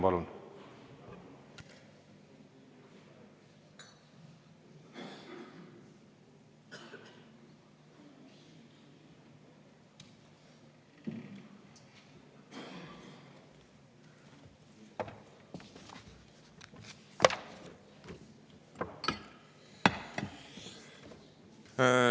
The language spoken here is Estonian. Palun!